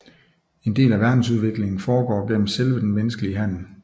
En del af verdensudviklingen foregår gennem selve den menneskelige handlen